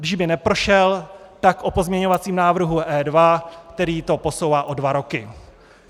Kdyby neprošel, tak o pozměňovacím návrhu E2, který to posouvá o dva roky.